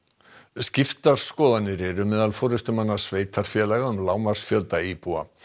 skiptar skoðanir eru meðal forystumanna sveitarfélaga um lágmarksfjölda íbúa